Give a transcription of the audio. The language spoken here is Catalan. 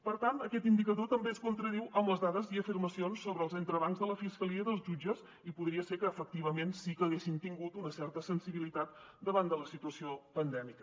per tant aquest indicador també es contradiu amb les dades i afirmacions sobre els entrebancs de la fiscalia i dels jutges i podria ser que efectivament sí que haguessin tingut una certa sensibilitat davant de la situació pandèmica